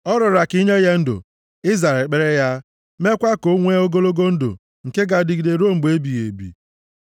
Ọ rịọrọ ka i nye ya ndụ, i zara ekpere ya mekwaa ka o nwee ogologo ndụ nke ga-adịgide ruo mgbe ebighị ebi.